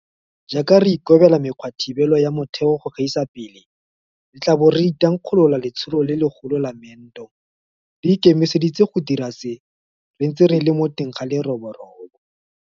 Jaaka re ikobela mekgwathibelo ya motheo go gaisa pele, re tla bo re thankgolola letsholo le legolo la meento. Re ikemiseditse go dira se re ntse re le mo teng ga leroborobo.